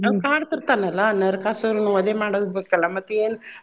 ಅವ್ ಕಾಡ್ತಿರ್ತಾನ ಅಲ್ಲಾ ನರಕಾಸುರನ ವಧೆ ಮಾಡ್ಬೇಕಲ್ಲಾ ಮತ್ತ ಏನ್.